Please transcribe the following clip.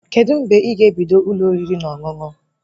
Kedụ mgbe ị ga-ebido Ụlọ oriri na ọṅụṅụ?